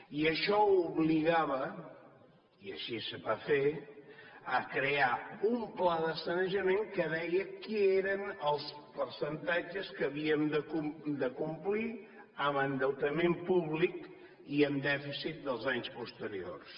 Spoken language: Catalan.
i això obligava i així es va fer a crear un pla de sanejament que deia quins eren els percentatges que havíem de complir en endeutament públic i en dèficit dels anys posteriors